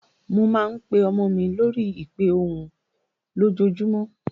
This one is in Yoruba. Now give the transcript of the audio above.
Mo máa ń pe ọmọ mi lórí ìpè ohùn lójoojúmọ́.